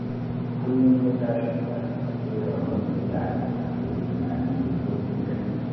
Kullum ya tashi da safe, yakan runtse idanunsa ya yi tunani mai zurfin gaske